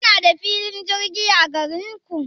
Kuna da filin jirgi a garinku?